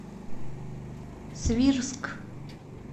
свирск